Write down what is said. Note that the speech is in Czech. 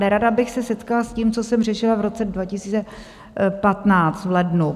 Nerada bych se setkala s tím, co jsem řešila v roce 2015 v lednu.